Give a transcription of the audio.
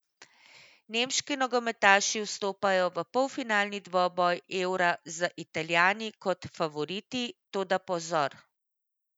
Nemški nogometaši vstopajo v polfinalni dvoboj Eura z Italijani kot favoriti, toda pozor.